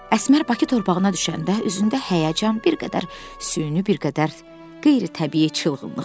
Əsmər Bakı torpağına düşəndə, üzündə həyəcan bir qədər süni, bir qədər qeyri-təbii çılğınlıq vardı.